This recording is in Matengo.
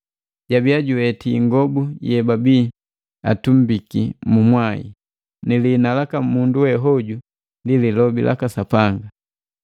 Jabiya juweti ingobu yebabii atumbiki mu mwai. Ni lihina laka mundu we hoju ndi “Lilobi laka Sapanga.”